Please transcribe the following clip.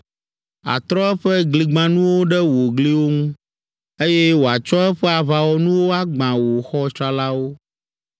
Atrɔ eƒe gligbãnuwo ɖe wò gliwo ŋu, eye wòatsɔ eƒe aʋawɔnuwo agbã wò xɔ tsralawo.